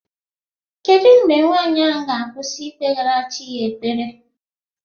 Kedu mgbe nwanyị ahụ ga-akwụsị ikpegara chi ya ekpere?